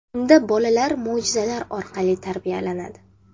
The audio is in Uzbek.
Unda bolalar mo‘jizalar orqali tarbiyalanadi.